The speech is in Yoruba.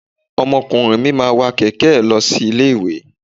Ọmọkùnrin mi máa ń wa kẹ̀kẹ́ ẹ̀ lọ sí ilé-ìwé.